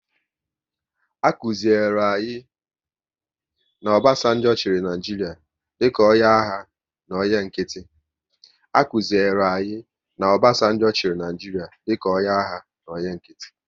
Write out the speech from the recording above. A kụziri anyị na Obasanjo chịrị Naịjiria dịka onye agha na onye nkịtị